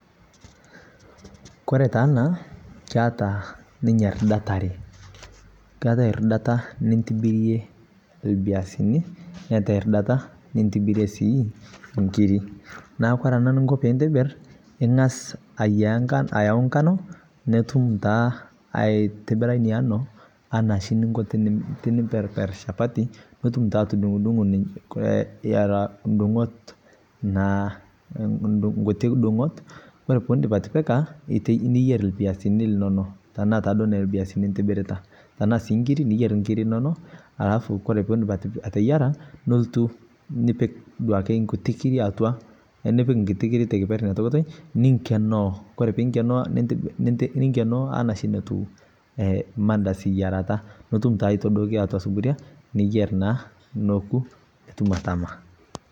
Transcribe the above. kore taa ana keata ninye ridat aree keatai ridata nintibirie lbiasini neatai ridata nintibirie sii nkiri naaku kore ana niknko piintibir ingas ayau nkano nitum taa aitibira inia anoo ana shi ninkoo tinimperper shapatii nitum taa atundungoo eraa ndungot naa nkutii dungot kore piindip atipika niyer lbiasini linono tanaa taaduo nelbiasini intibiritaa tanaa sii nkiri niyer nkiri inono alafu kore piindip ateyara nultu nipik duake nkutii kirii atua nipik nkutii kirii te keper inia tokitoi ninkenoo. kore pinkenoo, ninkenoo anaa shi notuu mandazi iyarataa nutum taa aitodokii atua suburia niyer naa nokuu nutum atama